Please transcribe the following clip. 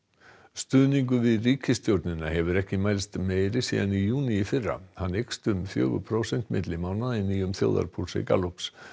stuðningur við ríkisstjórnina hefur ekki mælst meiri síðan í júní í fyrra hann eykst um fjögur prósent milli mánaða í nýjum þjóðarpúlsi Gallups